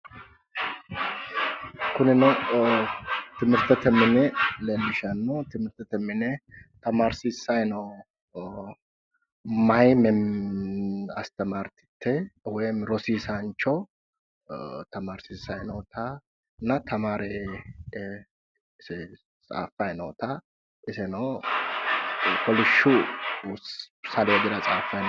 Kunino timirtete mine leellishanno. Timirtete mine tamaarsiissayi noo meeya astamaartitte woyimi rosiisaancho leellishanno tamaarsiissayi nootanna tamaare tsaaffayi noota iseno kolishshu saleedira tsaaffayi no.